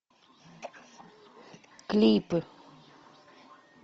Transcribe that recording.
клипы